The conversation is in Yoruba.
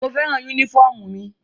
Mo fẹ́ràn yúnífọ̀mù mi